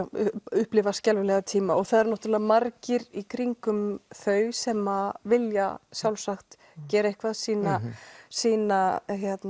upplifa skelfilega tíma og það eru náttúrulega margir í kringum þau sem vilja sjálfsagt gera eitthvað sýna sýna